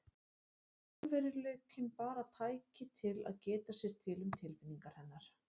Raunveruleikinn bara tæki til að geta sér til um tilfinningar hennar.